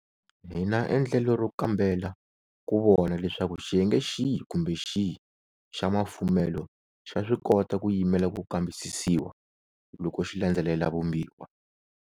Hi na endlelo ro kambela ku vona leswaku xiyenge xihi kumbe xihi xa mafumelo xa swi kota ku yimela ku kambisisiwa loko xi landzelela Vumbiwa.